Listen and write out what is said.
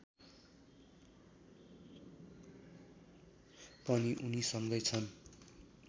पनि उनीसँगै छन्